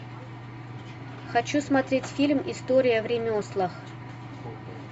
хочу смотреть фильм история в ремеслах